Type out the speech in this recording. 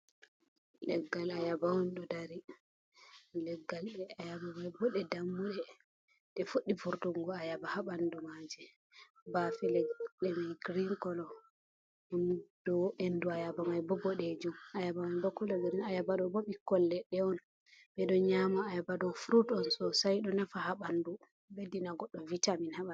Leggal ayaba on do, do dari leggal ayabamai bode dammude de fuddi furtuggo a yaba habandu maje bafe ledde man green color, endu a yaba man bodejum ayaba abo kol gre ayabado bo bikkolledde on bedo nyama ayabado frut on sosai do nafa habandu beddina goddo vitamin habandu.